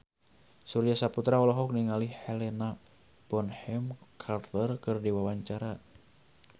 Surya Saputra olohok ningali Helena Bonham Carter keur diwawancara